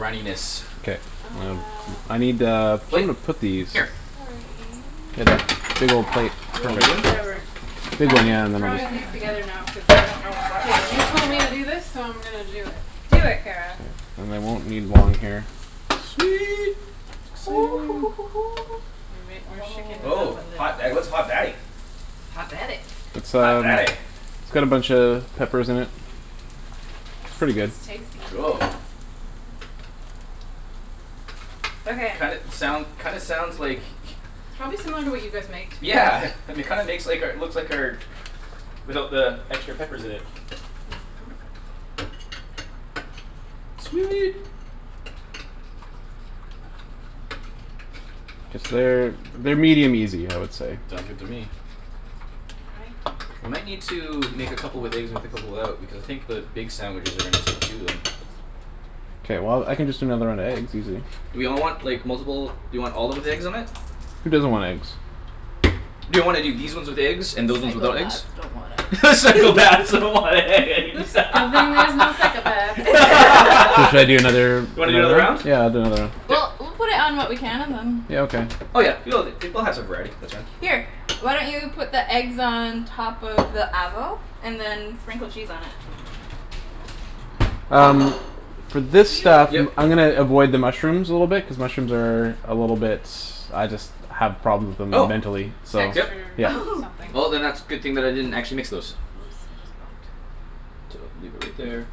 runniness. K Uh um I need a Plate? plate to put these. Here. Sorry. Get that big ol' plate for Looking everyone. for Whatever. some Big I'm one just yeah and then I'll Okay throwing just these okay okay together now cuz I don't know what K, goes you with told me to what. do this so I'm gonna do it. Do it, Kara. And I won't need one here. Sweet exciting. We're shakin' it Oh. up Oh a little. hot da- what's hot daddy? It's hot daddy. It's Hot um daddy it's got a buncha peppers in it. It's pretty It's good. it's tasty. Cool Okay. Kinda soun- kinda sounds like Probably similar to what you guys make to be Yeah honest. um it kinda makes like our looks like our Without the extra peppers in it. Mhm. Sweet Cuz they're they're medium easy I would say. Sounds good to me I think We might need to we make a make couple more of with eggs and with a this. couple out. Because I think the big sandwiches are gonna take two of them. K well I can just do another round of eggs, easy. Do we all want like multiple do we all of 'em with eggs on it? Who doesn't want eggs? Do you wanna do these ones with eggs and those ones without eggs? Psychopaths don't want Psychopaths eggs. don't want eggs. Good thing there's no psychopaths here. So should I do another Wanna do another round round? of them? Yeah I'll do another round. K Well we'll put it on what we can and then Yeah, okay. Oh yeah. She loves it. She we'll have some variety, that's fine. Here, why don't you put the eggs on top of the avo and then sprinkle cheese on it? Um for this Do you stuff Yep. I'm gonna avoid the mushrooms a little bit cuz mushrooms are A little bit I just have problems with them Oh mentally so yep Texture yeah. Oh something. Well then that's good thing that I didn't actually mix those. Oops, I just bonked. leave it right there.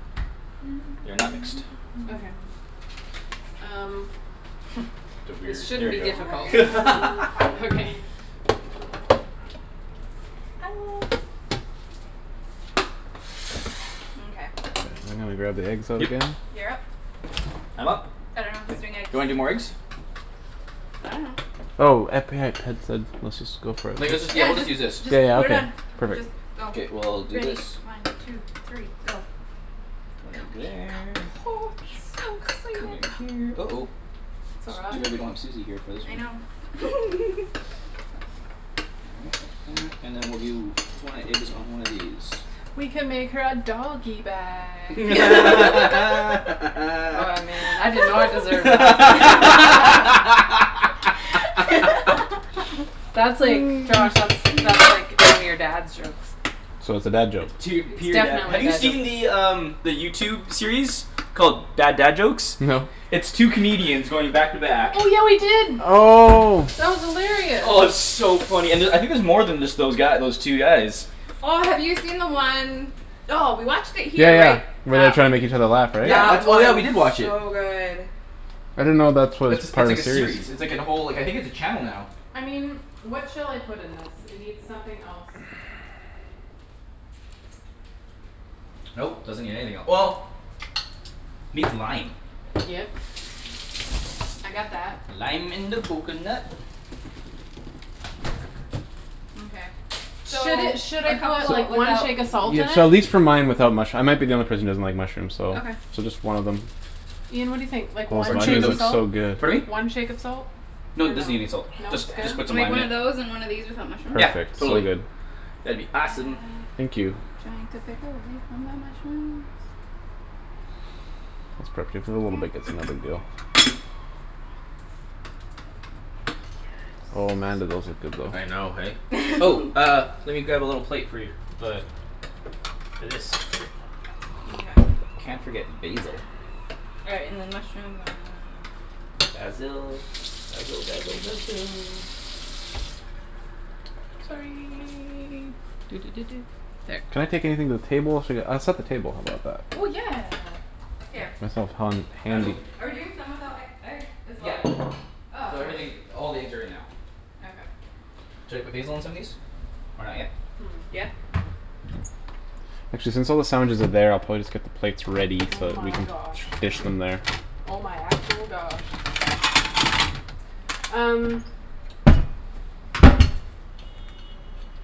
They're not mixed. Okay. Um The weird This shouldn't there be difficult we go I love okay. you Mkay. I'm gonna grab the eggs out Yep again. You're up. I'm up? I dunno who's doing eggs. Do you wanna do more eggs? I dunno. Oh epi- had Ped said let's just go for it. Like Yeah, let's just yeah we'll just just use this just Yeah yeah put it okay on. Just perfect. go. K well I'll do Ready, this. one two three go. One Go egg Ian there. So go. Ian go Come in excited. go here. go go. Uh oh It's It's all right. too bad we don't have Susie here for this I one. know. All right like that and then we'll do one egg is on one of these. We can make her a doggy bag. Oh man, I did not deserve laughter. That's like, Josh, that's that's like one of your dad's jokes. So it's a dad joke. It's tear It's pure dad definitely have a you dad joke. see the um The YouTube series called Bad Dad Jokes? No. It's two comedians going back to back Oh yeah we did. Oh That was hilarious. Oh and it's so funny and uh I think there's more than just those guy those two guys. Oh have you seen the one. Oh we watched it Yeah here right? yeah where they're That trying to make each other laugh right? Yeah that that's oh we was did watch it. so good. I didn't know that That's a was it's part of like a a series. series. It's like a whole I think it's a channel now. I mean, what shall I put in this? It need something else. Nope, doesn't need anything el- well Needs lime. Yep. I got that. Lime in the coconut. Mkay. So Should it should a I call couple it like one without shake of salt in Yeah so at it? least for mine without mush- I might be the only person that doesn't like mushrooms so Okay. so just one of them. Ian, what do you think? Like Oh one shake of looks so salt? good. Pardon me? One shake of salt? Dunno. No No? Good? doesn't need any salt. Just just put I'll some make lime one in it. of those and one of these without mushrooms? Yeah Perfect. So totally good. that'd be Uh giant awesome. Thank you. uh pepper away from the mushrooms That's perf- if you wanna bake it's another dill. Oh man do those look good though. I know hey? Oh uh let me grab a little plate for you. The For this. Mkay. Can't forget basil. All right, and then mushrooms uh Basil basil basil basil Sorry Can I take Sorry. anything to the table? Should I get I'll set the table how 'bout that? Oh yeah. Here. Myself hond- Um Basil? handy. are we doing some without e- egg as well? Yeah Oh K. so everything all the eggs are in now. Okay. Should I put basil on some of these? Or not yet? Hmm. Yeah. Actually since all the sandwiches are there I'll probably just get the plates ready Oh so we my can gosh. dish them there. Oh my actual gosh. Um.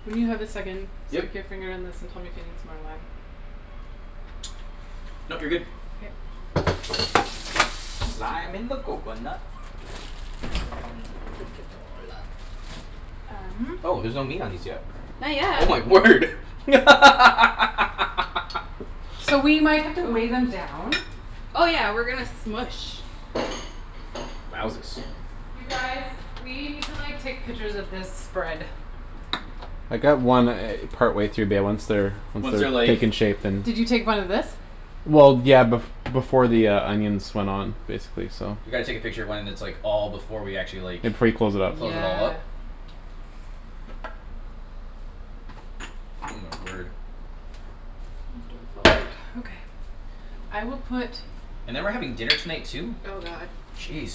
When you have a second, Yep stick your finger in this and tell me if it needs more lime. Nope you're good. K. Lime in the coconut. You drink it all up. Um. Oh there's no meat on these yet? Not Oh my yet. word So we might have to wave Oh. 'em down. Oh yeah, we're gonna smoosh. Wowzus You guys, we need to like take pictures of this spread. I got one e- partway through bae once they're Once Once they're they're like taken shape then Did you take one of this? Well yeah bef- before the uh onions went on basically so. We gotta take a picture when it's like all before we actually Yeah like before you close it up. close it all up Yeah. Oh my word. Please don't fall out. Okay. I will put And then we're having dinner tonight too? Oh god. Jeez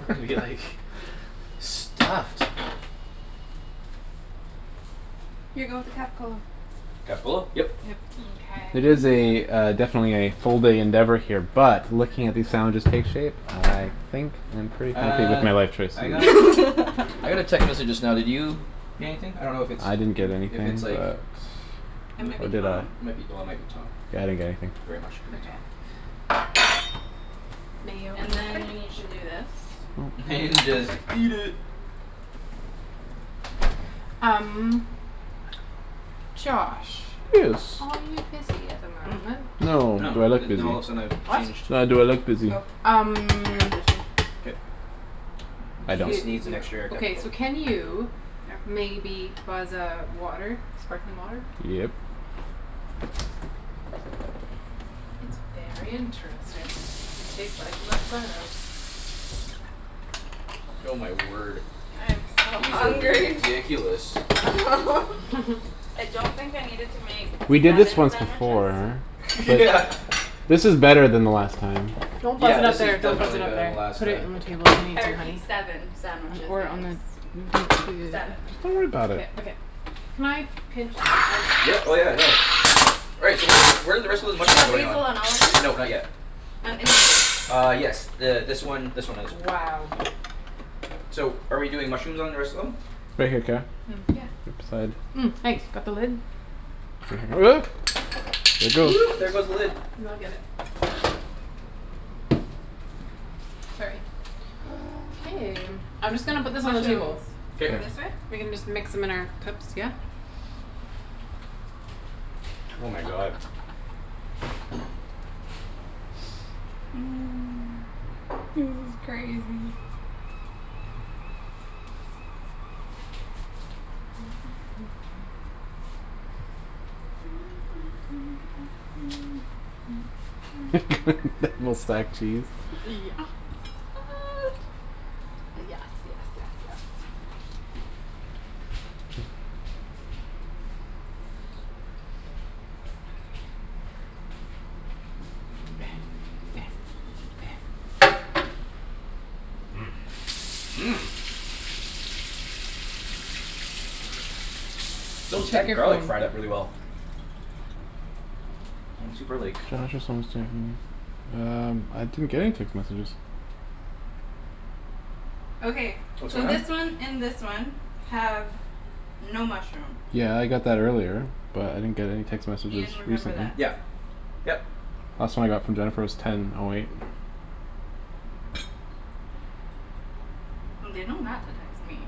We're gonna be like stuffed. Here go with the Capocollo. Capocollo? Yep. Yep. Mkay It is a uh definitely a full day endeavor here But looking at these sandwiches take shape I think I'm pretty happy with Uh my life choice so I got I got a text message just now did you get anything? I don't know if it's I didn't get if anything it's like but It m- might Or be did Tom. I? Yeah might be oh it might be Tom. I didn't get anything. Very much could be Okay. Tom. Mayo in And the then you fridge. need to do this. Then just eat it. Um Josh, Yes. are you busy at the moment? Oh No, do I look busy? now all of a sudden I've What? changed No, do I look busy? Oh, I got Um this one. K No, I don't. This needs an extra okay so capocollo can you Oh. Maybe buzz a water? Sparkling water? Yep. It's very interesting. It tastes like Oh my word. I am so These are hungry. ridiculous. I don't think I needed to make We did this seven once sandwiches. before Yeah but. This is better than the last time. Don't buzz Yeah it up this is there don't buzz it definitely up better there. than last Put it time. on the table if you need I to, honey. repeat, seven sandwiches Or on the guys. don't do Seven. Don't worry 'bout k, it. okay. Can I pinch the I Yeah just oh sorry yeah no Right, so where where're the rest of those You got mushrooms going on? basil on all of No them? not yet. On any of them? Uh yes th- this one this one and this one. Wow. So are we doing mushrooms on the rest of them? Right here, Kara Yeah. Right beside. Thanks, got the lid? There it goes. there goes the lid. N- I'll get it. Sorry. K, I'm just gonna put this on the Mushrooms table. go All K this right. way? We can just mix 'em in our cups, yeah? Oh my god. This is crazy. Yeah Double stacked cheese. s- yes yes yes yes Those Check deck your garlic phone. fried up really well. I'm super like Josh is almost there Um I didn't get any text messages. Okay, What's so going on? this one and this one have no mushroom. Yeah I got that earlier, but I didn't get any text messages Ian, remember recently. that. Yep yep Last one I got from Jennifer was ten O eight. Well, they know not to text me.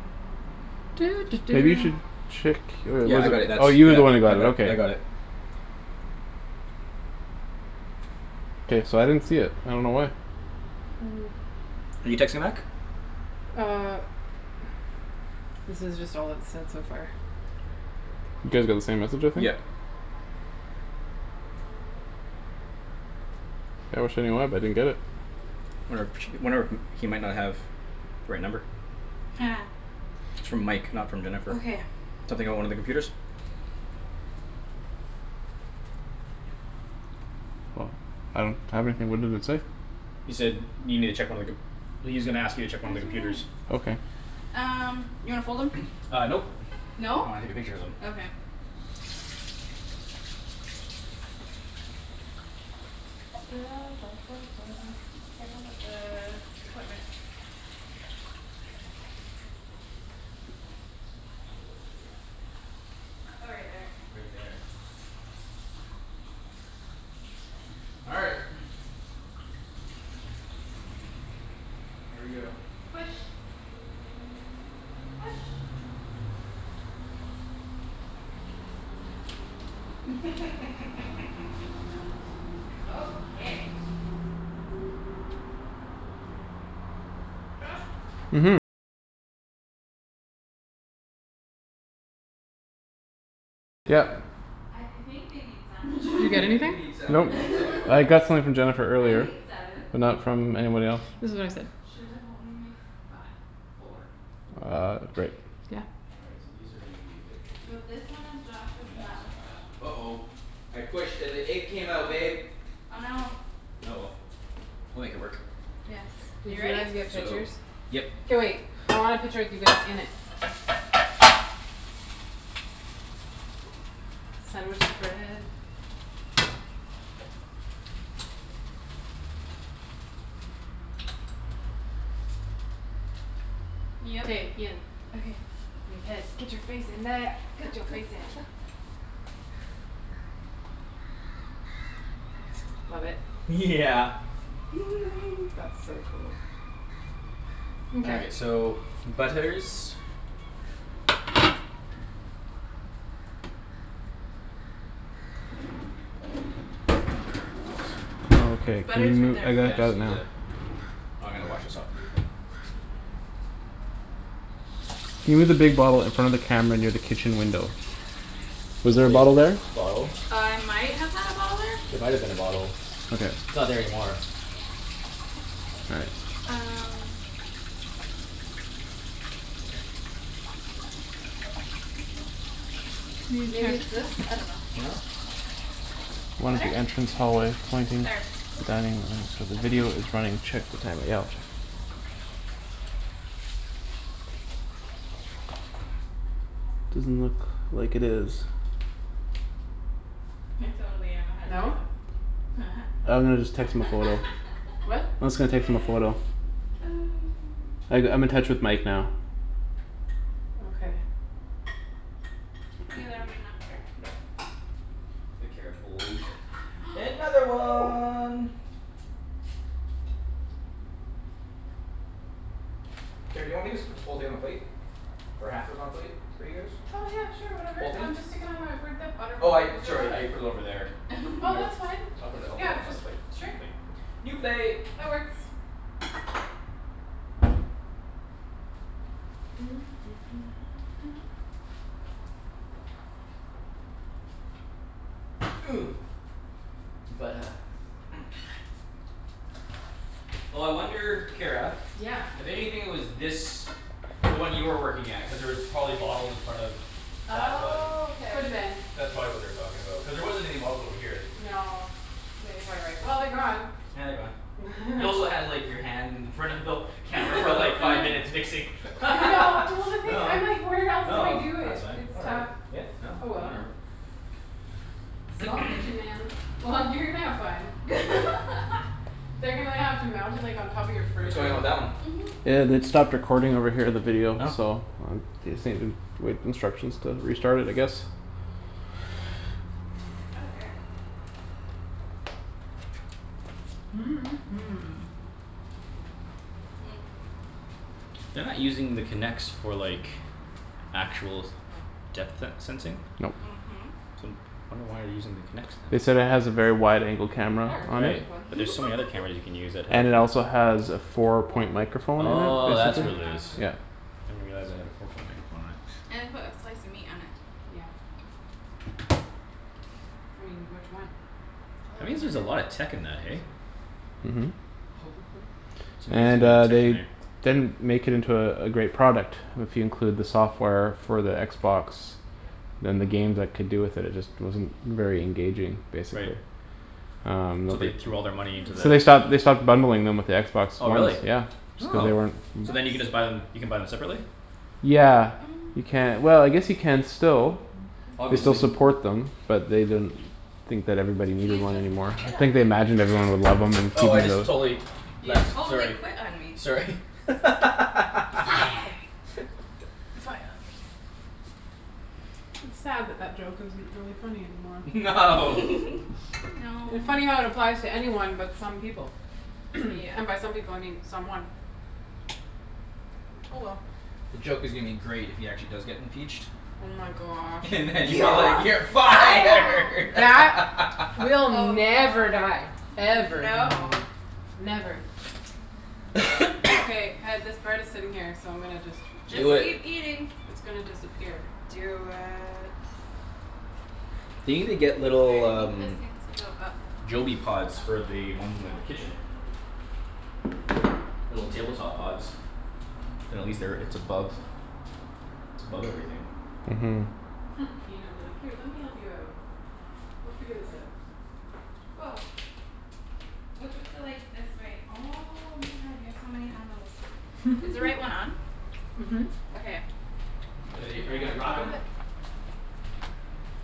Maybe you should check oh Yeah yeah I well got it you that's oh you were the one who got it that that I got okay. it. K, so I didn't see it, I don't know why. You texting back? Uh This is just all it said so far. You guys got the same message I think. Yep. I wish I knew why but I didn't get it. Wonder if wonder if he might not have The right number. It's from Mike not from Jennifer. Okay. Something about one of the computers? Well I don't have anything what does it say? He said need me to check one of the com- well he's gonna ask you to Oh it's check one right of the there. computers. Okay. Um, you wanna fold 'em? Uh nope No? I wanna take a picture of them. Okay. Careful with the equipment. Oh right there. Right there. All right. Here we go. Push. Push. Okay. Josh. I I think they need sandwiches You I get think anything? they need Nope, sandwiches too I got something from Jennifer I earlier made seven. but not from anybody else. This is what I said. Should've only made five four. Four Uh great. Yeah. All right so these are gonna be a bit tricky. And So this one is that's Josh's and that one's Josh. Josh's. Uh oh I pushed and the egg came out babe Oh no. Oh well, we'll make it work. Yes, Did you you ready? guys get So pictures? Yep K wait, I want a picture of you guys in it. Sandwich spread. K, Ian. Okay. And Ped. Get your face in there. Go go Get your face go go. in. Love it. Yeah That's so cool. All Mkay. right so butlers Okay Butter's right there. I got Yeah I just that need the now. oh I'm gonna wash this off with your "Can you move the big bottle in front of the camera near the kitchen window?" Was The there a big bottle there? bottle? Uh I might have had a bottle there. There might've been a bottle. Okay. It's not there anymore. All right. Um. New Maybe it's text. this? I dunno. No? "One at Better? the entrance hallway pointing" There. "Dining so the video is running. Check the timer." Yeah I'll check. Doesn't look like it is. I totally am a head No? chef. I'm gonna just text him a photo. What? I'm just gonna text him a photo. I g- I'm in touch with Mike now. Okay. Ian there'll be enough butter? Nope The Kara pulled another one. Kara, do you want me just put Okay. this whole thing on a plate? Or half of i- on a plate for you guys? Oh yeah sure whatever. Whole thing? Um just stick it on my where that butter Oh I went. Is it sorry I running? put it over there. I Oh that's fine, I'll put it I'll put it on another plate. just sure New plate. New plate That works. Oh I wonder Kara. Yeah. I bet you anything it was this The one you were working at cuz there was probably bottles in front of That one Oh K. Coulda been. That's probably what they were talking about cuz there wasn't any bottles over here. No yeah you're probably right. Well they're gone. Yeah they're gone. You also had like your hand in front of the Camera for like I five know. minutes mixing. I know well No the thing no I'm like where else do I do that's it? fine It's whatever tough. yeah no Oh well. whatever. Small kitchen, man. Well, you're gonna have fun. They're gonna have to mount it like on top of your What's fridge or going on with something. that one? Mhm. Yeah they'd stopped recording over here, the video Oh so. They say uh wait instructions to restart it I guess. Okay. They're not using the Kinects for like Actual depth se- sensing? Nope. Mhm. I wonder why Damn they're it. using the Kinects They then? said it That has a works. very wide angle camera Oh it's on a Right it. one but there's so many other cameras you can use that have And it it Oh also has a four Well, point microphone we'll in Oh there make is the that's the what other it is. half of thing. it. Yeah. Didn't realize they had a four point microphone in it. And put a slice of meat on it. Yeah. I mean, which one? I'll That hold your means there's a marker. lot of tech in that This eh? one. Mhm. It's And amazing amount uh of tech in they there. didn't make it into uh a great product if you include the software for the Xbox. Yep. Then the games that could do with it it just wasn't very engaging, basically Right Um no So the they threw all their money in there. So they stopped they Okay. stopped bundling them with the Xbox Oh really Ones, yeah. Just cuz Oh they weren't so then you can Oops. just buy them you can buy them separately? Yeah you ca- well I guess you can still. They still Obviously. support them but they didn't Think that everybody needed Ian one just anymore. quit on Think they me. imagined everyone would love 'em Oh I including just the totally You left totally sorry quit on me. sorry You're fired. You're fired. It's sad that that joke isn't really funny anymore. No. No It funny how it applies to anyone but some people. Yeah. And by some people I mean someone. Oh well. The joke is gonna be great if he actually does get impeached Oh my gosh. And then you're like, You're "You're fired" fired. That will never die. Ever. no. Never. Okay, Ped, this bread is sitting here so I'm gonna just Just just Do it keep eating. It's gonna disappear. Do it. They need to get little I um think this needs to go up a little Joby pods for the bit ones in the kitchen. higher. Little table top pods. Then at least they're it's above it's above everything. Mhm. Ian'll be like, "Here, let me help you out." We'll figure this out. Woah. What's with the like this wait oh my god you have so many handles. Is the right one on? Mhm. Okay, I'm Uh are gonna you turn are you that gonna up a rock little 'em? bit.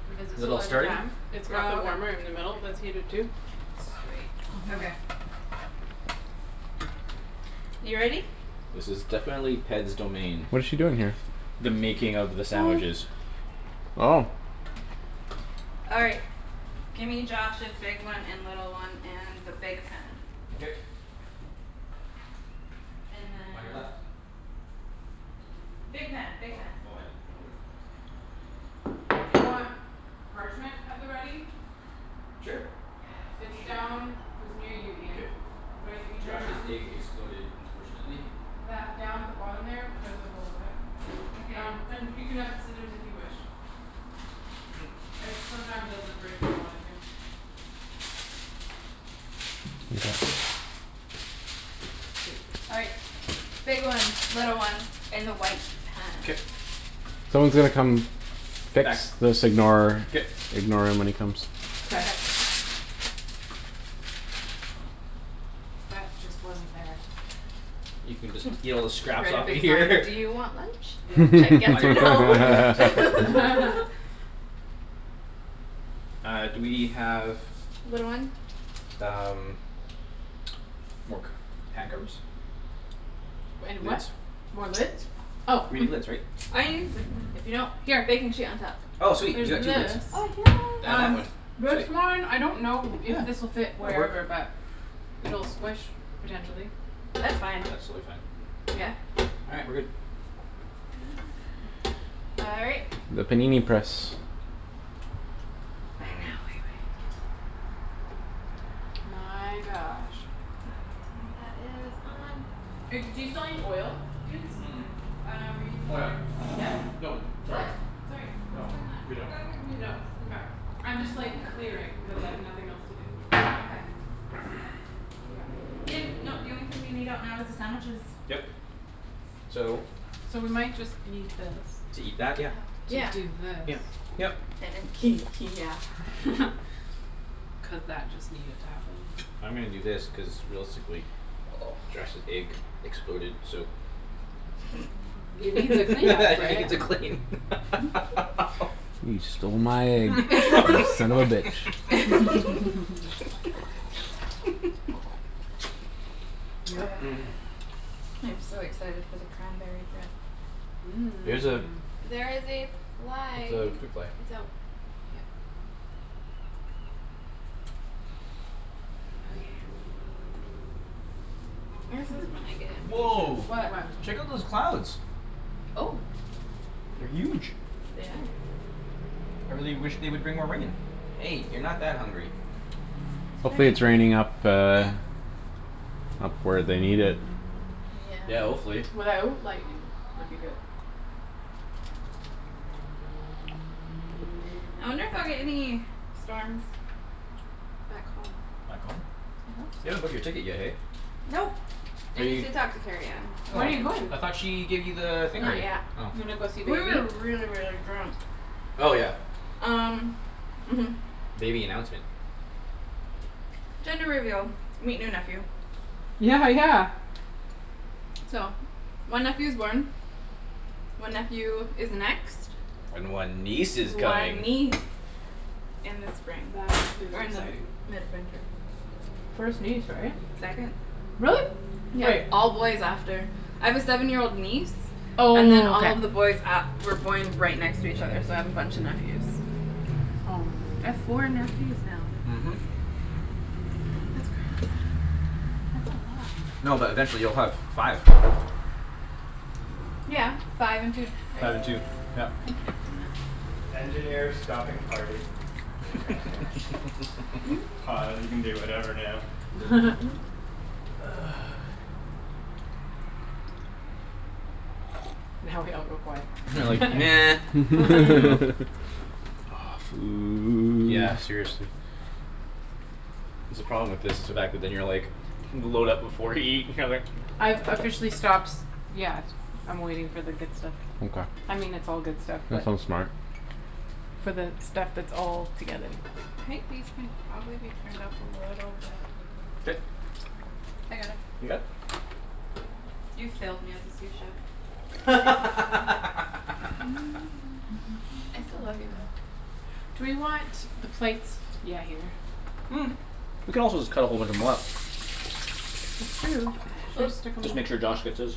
Because Is it's it a all larger starting? pan. It's got the Oh warmer in the okay. middle that's heated too. Sweet, Mhm. okay. You ready? This is definitely Ped's domain. What is she doing here? The making of the sandwiches. Oh. All right, gimme Josh's big one and little one and the big pan. K And then On your left Big pan, big Oh pan. oh I didn't know which one was the big pan. Do you want parchment at the ready? Sure It's Shoot Yes. down It's near you K. Ian, right if you turn Josh's around. egg exploded unfortunately. That down at the bottom there, there's On? a roll of it. Okay. Um and you can have scissors if you wish. It sometimes doesn't break where you want it to. Mkay. All right. Big one, little one in the white K pan. Someone's gonna come fix this ignore K ignore him when he comes. K. Okay. That just wasn't there. You can just eat all the scraps Write off a of big here sign: "Do you want lunch?" Should Yep. I guess On or your no? on on your left Uh do we have Little one? um More c- pan covers? And a what? Lids? More lids? Oh We need lids right? Oh you can just like if you don't. Here. Baking sheet on top. Oh sweet There's you got two lids this. Oh yes. And that Um one, this sweet one I don't know if Yeah this'll fit that'll work wherever but It'll squish potentially. That's fine. That's totally fine. Yeah? Yeah. All right, we're good. All right. The panini press. And now we wait. My gosh. Um that is on. Do you still need oil, That's dudes? Mm- mm. four. Oh no we're using Oh yeah. butter. Yes? Nope, sorry. What? Sorry No, what's going on? we don't I'm confused. No mkay I'm I just like know. clearing cuz I Mhm have nothing else to do. Okay. Yeah. Ian no the only thing we need out now is the sandwiches. Yep so So we might just need this To eat that? Oh Yeah. To do yes. this. Yeah. Yep. yeah Cuz that just needed to happen. I'm gonna do this cuz realistically Josh's egg exploded so It needs a cleanup right? needs a clean You stole my egg you son of a bitch. Yep. I'm so excited for the cranberry bread. There's a There is a fly. it's a fruit fly. It's out. Yeah. This is when I get impatient. Woah What? What? check out those clouds Oh. They're huge. They are. I really wish they would bring more rain. Hey you're not that hungry. It's Hopefully Chinese it's fruit. raining up uh Up where they need it. Yeah. Yeah hopefully. Without lightning would be good. I'll get any storms Back home. Back home? I hope You so. haven't booked your ticket yet hey? Nope, Are I need you to talk to Kerrianne. When are you going? I thought she gave you the thing Not already? yet. Oh Gonna go see We baby? were really really drunk. Oh yeah Um mhm. Baby announcement Gender reveal. Meet new nephew. Yeah yeah. So, one nephew's born. One nephew is next. And one niece is coming One niece in the spring. That is Or in the exciting. mid-winter. First niece right? Second. Really? Yeah, Wait. all boys after. I have a seven year old niece Oh And then all okay. of the boys a- were born right next to each other so I have a bunch of nephews. I have four nephews now. Mhm. That's crazy. That's a lot. No but eventually you'll have five. Yeah, five and two right? Five I and two. Yeah can't do math. Now we all go quiet. We're like nah Aw food. Yeah seriously. That's the problem with this it's the fact that then you're like load up before you eat I've officially stops. Yeah, I'm waiting for the good stuff. I mean it's all good stuff That's but so smart. For the stuff that's all together. I think these can probably be turned up a little bit. K I got it. You got it? You failed me as a sous chef. I'm taking over. I still love you though. Do we want the plates yeah here. We could also just cut a whole bunch of 'em up. True, should I stick 'em Just make sure Josh gets his.